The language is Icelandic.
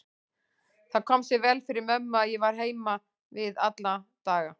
Það kom sér vel fyrir mömmu að ég var heima við alla daga.